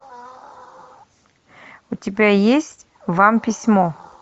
у тебя есть вам письмо